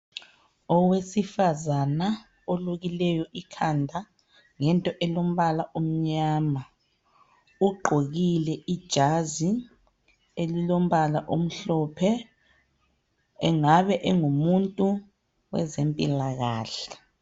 Owesifazana olukileyo ikhanda ngento elombala omnyama. Ugqokile ijazi elilombala omhlophe. Engabe engumuntu weze mpilakahle.